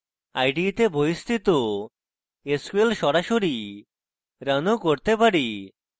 ide তে বহিস্থিত sql সরাসরি রান ও করতে পারি